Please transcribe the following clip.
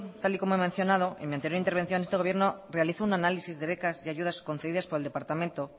tal y como he mencionado en mi anterior intervención este gobierno realiza un análisis de becas y ayudas concedidas con el departamento